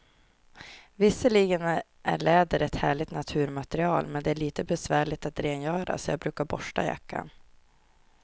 Visserligen är läder ett härligt naturmaterial, men det är lite besvärligt att rengöra, så jag brukar borsta jackan.